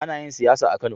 Ana yin siyasa a Kano.